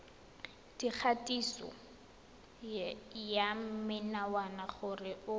dikgatiso ya menwana gore o